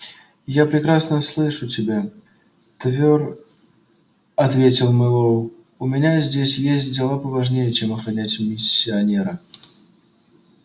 я прекрасно слышу тебя твёр ответил мэллоу у меня здесь есть дела поважнее чем охранять миссионера